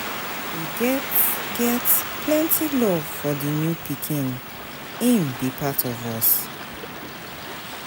We get get plenty love for di new pikin, im be part of us.